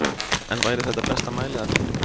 En væri þetta besta mæliaðferðin?